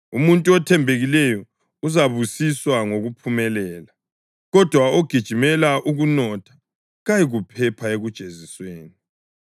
Umuntu othembekileyo uzabusiswa ngokuphumelela, kodwa ogijimela ukunotha kayikuphepha ekujezisweni.